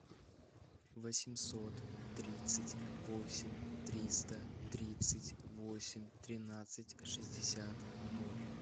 восемьсот тридцать восемь триста тридцать восемь тринадцать шестьдесят ноль